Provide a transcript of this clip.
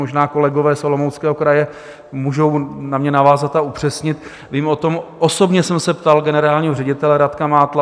Možná kolegové z Olomouckého kraje můžou na mě navázat a upřesnit, vím o tom, osobně jsem se ptal generálního ředitele Radka Mátla.